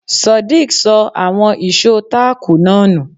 Sodiq ṣọ àwọn ìṣó táàkù náà nù.